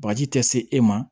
Bagaji tɛ se e ma